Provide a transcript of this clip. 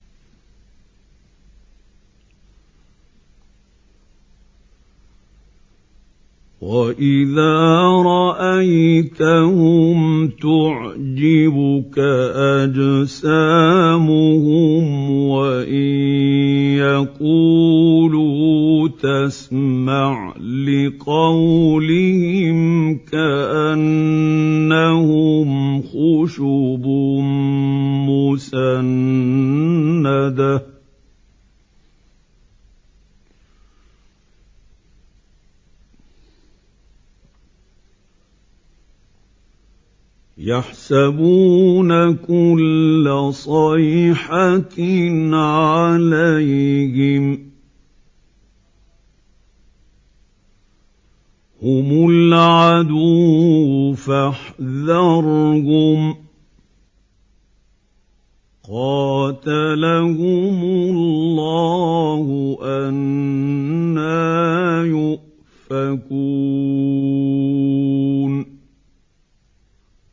۞ وَإِذَا رَأَيْتَهُمْ تُعْجِبُكَ أَجْسَامُهُمْ ۖ وَإِن يَقُولُوا تَسْمَعْ لِقَوْلِهِمْ ۖ كَأَنَّهُمْ خُشُبٌ مُّسَنَّدَةٌ ۖ يَحْسَبُونَ كُلَّ صَيْحَةٍ عَلَيْهِمْ ۚ هُمُ الْعَدُوُّ فَاحْذَرْهُمْ ۚ قَاتَلَهُمُ اللَّهُ ۖ أَنَّىٰ يُؤْفَكُونَ